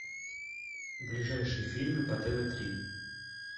ближайшие фильмы по тв три